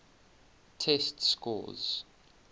test scores